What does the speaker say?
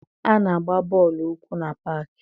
A na-agba bọọlụ ụkwụ na paakị.